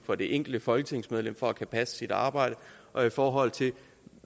for det enkelte folketingsmedlem for at kunne passe sit arbejde og i forhold til